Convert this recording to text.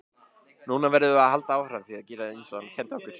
Núna verðum við að halda áfram að gera eins og hann kenndi okkur.